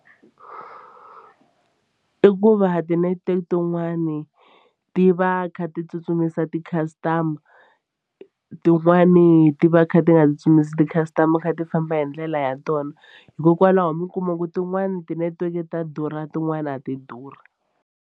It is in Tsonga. I ku va ti-network tin'wani ti va ti kha ti tsutsumisa ti-customer tin'wani ti va ti kha ti nga tsutsumisi ti-customer kha ti famba hi ndlela ya tona hikokwalaho mi kuma ku tin'wani ti-network ta durha tin'wani a ti durhi.